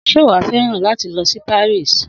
Sé wàá feran látí lōsí Paris?